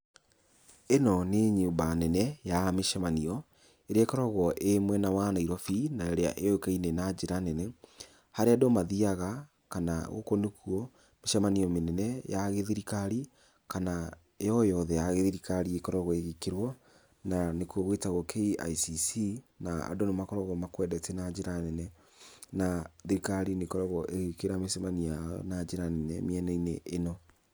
Ĩno nĩ nyũmba nene ya mĩcemanio, ĩrĩa ĩkoragwo ĩ mwena wa Nairobi, na ĩrĩa yũĩkaine na njĩra nene harĩa andũ mathiaga, kana gũkũ nĩkuo mĩcemanio mĩnene ya gĩthirikari kana yo yothe ya gĩthirikari ĩkoragwo ĩgĩkĩrwo na nĩku gwĩtagwo KICC na andũ nĩ makoragwo makwendete na njĩra nene na thirikari nĩ ĩkoragwo ĩgĩkĩra mĩcemanio yao na njĩra nene mĩena-inĩ ĩno.